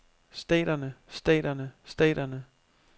staterne staterne staterne